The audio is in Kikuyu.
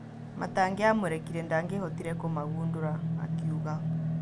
Matangĩamũrekirie, ndangĩhootire kũmagũndũra , akiuga.